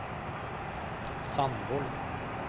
Sandvoll